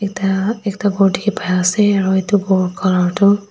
ekta ekta ghor dekhi pai ase aru itu ghor colour tu--